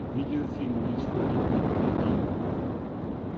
видеофильм на исходе дня найди